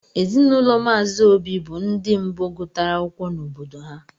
ezinụlọ mazi obi bu ndi mbu gutara akwụkwọ n' obodo ha.